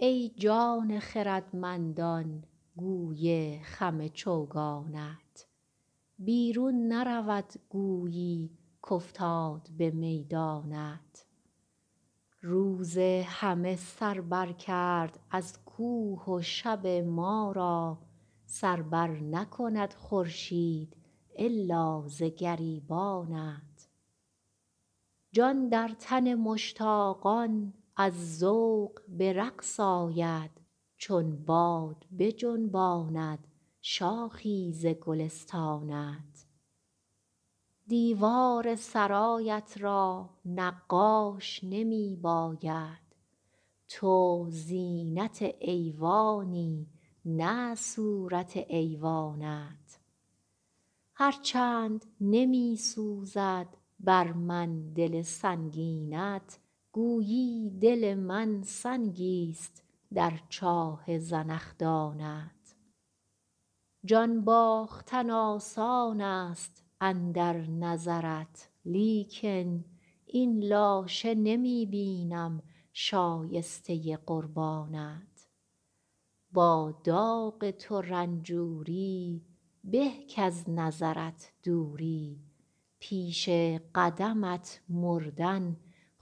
ای جان خردمندان گوی خم چوگانت بیرون نرود گویی کافتاد به میدانت روز همه سر بر کرد از کوه و شب ما را سر بر نکند خورشید الا ز گریبانت جان در تن مشتاقان از ذوق به رقص آید چون باد بجنباند شاخی ز گلستانت دیوار سرایت را نقاش نمی باید تو زینت ایوانی نه صورت ایوانت هر چند نمی سوزد بر من دل سنگینت گویی دل من سنگیست در چاه زنخدانت جان باختن آسان است اندر نظرت لیکن این لاشه نمی بینم شایسته قربانت با داغ تو رنجوری به کز نظرت دوری پیش قدمت مردن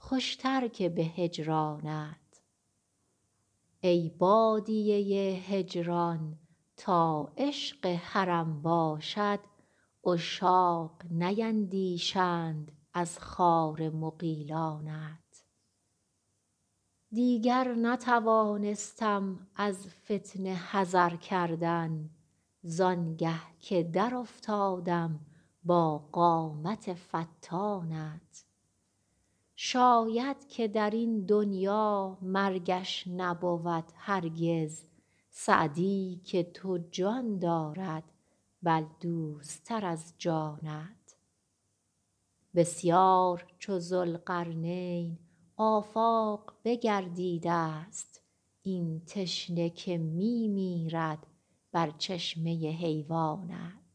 خوشتر که به هجرانت ای بادیه هجران تا عشق حرم باشد عشاق نیندیشند از خار مغیلانت دیگر نتوانستم از فتنه حذر کردن زآنگه که در افتادم با قامت فتانت شاید که در این دنیا مرگش نبود هرگز سعدی که تو جان دارد بل دوست تر از جانت بسیار چو ذوالقرنین آفاق بگردیده ست این تشنه که می میرد بر چشمه حیوانت